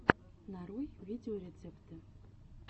нарой видеорецепты